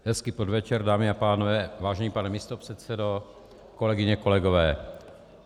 Hezký podvečer, dámy a pánové, vážený pane místopředsedo, kolegyně, kolegové.